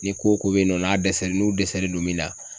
Ni ko o ko bɛ yen nɔ n'a dɛsɛlen n'u dɛsɛlen don min na